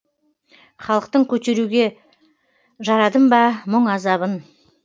халықтың көтеруге жарадым ба мұң азабын